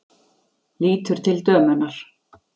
Lítur til dömunnar.